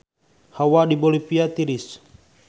Hawa di Bolivia tiris